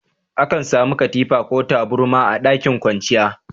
Akan samu katifa ko taburma a ɗakin kwanciya.